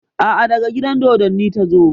A'a, daga gidan dodonni ta zo.